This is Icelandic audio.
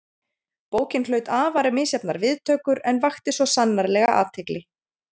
Bókin hlaut afar misjafnar viðtökur en vakti svo sannarlega athygli.